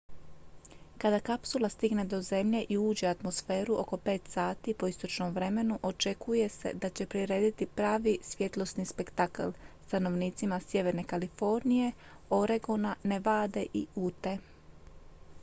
kada kapsula stigne do zemlje i uđe u atmosferu oko 5 sati po istočnom vremenu očekuje se da će prirediti pravi svjetlosni spektakl stanovnicima sjeverne kalifornije oregona nevade i ute